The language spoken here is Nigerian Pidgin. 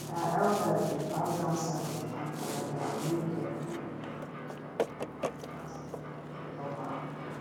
our elders dey pass down sacred farm calendar wey dem calendar wey dem draw for animal skin like treasure map